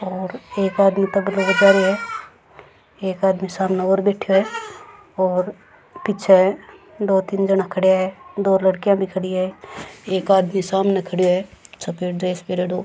और एक आदमी तबलों बजा रियो है एक आदमी सामने और बैठयो है और पीछे दो तीन जना खड्या है दो लड़किया भी खड़ी है एक आदमी सामने खड़यो है सफ़ेद ड्रेस पहरयोडो।